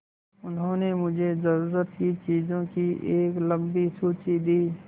उन्होंने मुझे ज़रूरत की चीज़ों की एक लम्बी सूची दी